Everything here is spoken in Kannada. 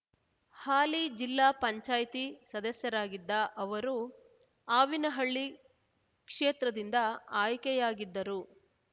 ಹಾಲಿ ಜಿಲ್ಲಾ ಪಂಚಾಯ್ತಿ ಸದಸ್ಯರಾಗಿದ್ದ ಅವರು ಆವಿನಹಳ್ಳಿ ಕ್ಷೇತ್ರದಿಂದ ಆಯ್ಕೆಯಾಗಿದ್ದರು